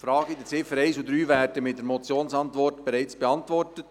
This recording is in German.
Die Fragen der Ziffern 1 und 3 werden mit der Motionsantwort bereits beantwortet.